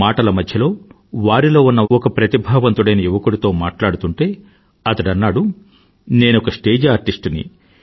మాటల మధ్య వారిలో ఉన్న ఒక ప్రతిభావంతుడైన యువకుడితో మాట్లాడుతుంటే అతడన్నాడు నేనొక స్టేజ్ ఆర్టిస్ట్ ని